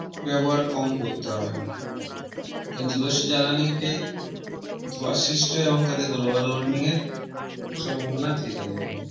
ব্যবহার কম করতে হবে জীবাশ্ম জ্বালানি তে ধোয়া সৃষ্টি হয় এবং তাদের Global warming এর সম্ভাবনা থেকে যায়